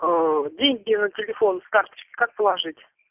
деньги на телефон с карточки как положить